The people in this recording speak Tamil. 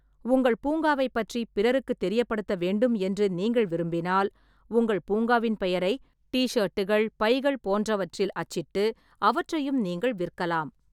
உங்கள் பூங்காவைப் பற்றி பிறருக்குத் தெரியப்படுத்த வேண்டும் என்று நீங்கள் விரும்பினால், உங்கள் பூங்காவின் பெயரை டி-ஷேட்டுகள், பைகள் போன்றவற்றில் அச்சிட்டு அவற்றையும் நீங்கள் விற்கலாம்.